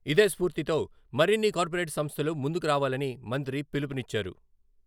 ఇదే స్ఫూర్తితో మరిన్ని కార్పొరేట్ సంస్థలు ముందుకు రావాలని మంత్రి పిలుపునిచ్చారు.